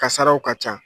Kasaraw ka ca